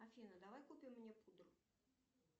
афина давай купим мне пудру